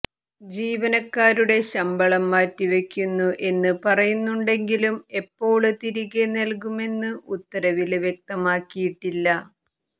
ജീവനക്കാരുടെ ശമ്പളം മാറ്റിവയ്ക്കുന്നു എന്ന് പറയുന്നുണ്ടെങ്കിലും എപ്പോള് തിരികെ നല്കുമെന്ന് ഉത്തരവില് വ്യക്തമാക്കിയിട്ടില്ല